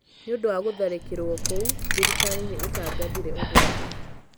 nĩ ũndũ wa gũtharĩkĩrũo kũu thirikari nĩ ĩtangathire ũgwati